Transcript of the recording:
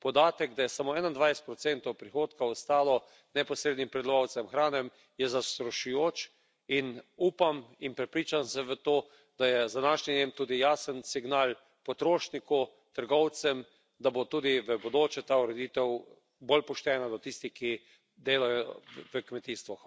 Podatek, da je samo 21 prihodka ostalo neposrednim pridelovalcem hrane, je zastrašujoč, in upam in prepričan sem v to, da je z današnjim dnem tudi jasen signal potrošniku, trgovcem, da bo tudi v bodoče ta ureditev bolj poštena do tistih, ki delajo v kmetijstvu.